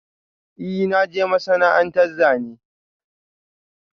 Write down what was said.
I na je masana'anta Zane.